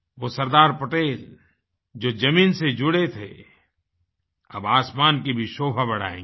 वो सरदार पटेल जो जमीन से जुड़े थे अब आसमान कीभीशोभा बढ़ाएँगे